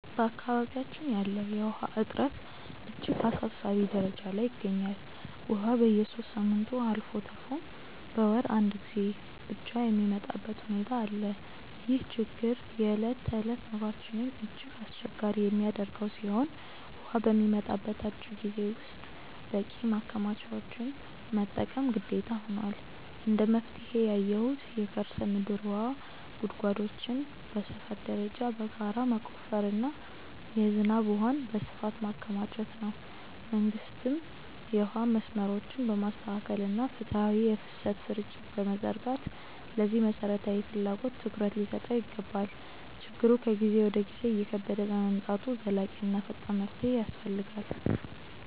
በአካባቢያችን ያለው የውሃ እጥረት እጅግ አሳሳቢ ደረጃ ላይ ይገኛል፤ ውሃ በየሦስት ሳምንቱ አልፎ ተርፎም በአንድ ወር አንዴ ብቻ የሚመጣበት ሁኔታ አለ። ይህ ችግር የዕለት ተዕለት ኑሯችንን እጅግ አስቸጋሪ የሚያደርገው ሲሆን፣ ውሃ በሚመጣበት አጭር ጊዜ ውስጥ በቂ ማከማቻዎችን መጠቀም ግዴታ ሆኗል። እንደ መፍትሄ ያየሁት የከርሰ ምድር ውሃ ጉድጓዶችን በሰፈር ደረጃ በጋራ መቆፈርና የዝናብ ውሃን በስፋት ማከማቸት ነው። መንግስትም የውሃ መስመሮችን በማስተካከልና ፍትሃዊ የፍሰት ስርጭት በመዘርጋት ለዚህ መሠረታዊ ፍላጎት ትኩረት ሊሰጠው ይገባል። ችግሩ ከጊዜ ወደ ጊዜ እየከበደ በመምጣቱ ዘላቂና ፈጣን መፍትሄ ይፈልጋል።